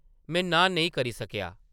में नांह् नेईं करी सकेआ ।